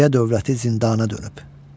Kişiyə dövləti zindana dönüb.